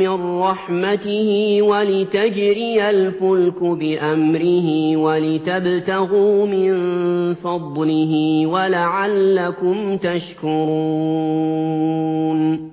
مِّن رَّحْمَتِهِ وَلِتَجْرِيَ الْفُلْكُ بِأَمْرِهِ وَلِتَبْتَغُوا مِن فَضْلِهِ وَلَعَلَّكُمْ تَشْكُرُونَ